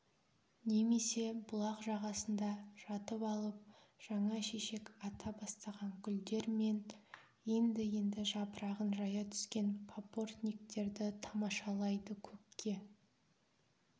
немесе бұлақ жағасында жатып алып жаңа шешек ата бастаған гүлдер мен енді-енді жапырағын жая түскен папортниктерді тамашалайды көкке